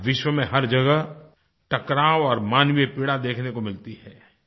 आज विश्व में हर जगह टकराव और मानवीय पीड़ा देखने को मिलती है